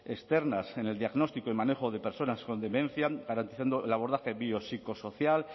externas en el diagnóstico y manejo de personas con demencia garantizando el abordaje biopsicosocial